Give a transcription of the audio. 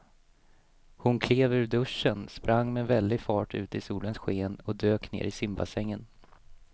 Hon klev ur duschen, sprang med väldig fart ut i solens sken och dök ner i simbassängen.